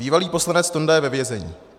Bývalý poslanec Tonda je ve vězení.